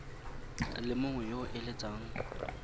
le mongwe yo o eletsang